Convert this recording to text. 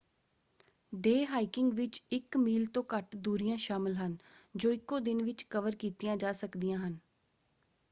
Day hiking ਵਿੱਚ ਇੱਕ mile ਤੋਂ ਘੱਟ ਦੂਰੀਆਂ ਸ਼ਾਮਲ ਹਨ ਜੋ ਇਕੋ ਦਿਨ ਵਿੱਚ ਕਵਰ ਕੀਤੀਆਂ ਜਾ ਸਕਦੀਆਂ ਹਨ।